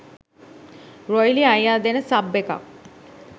රොයිලි අයියා දෙන සබ් එකක්